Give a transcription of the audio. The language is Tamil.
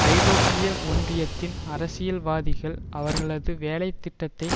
ஐரோப்பிய ஒன்றியத்தின் அரசியல்வாதிகள் அவர்களது வேலை திட்டத்தை